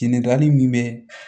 Ɲininkali min bɛ